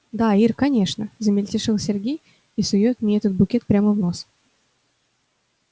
да ир конечно замельтешил сергей и сует мне этот букет прямо в нос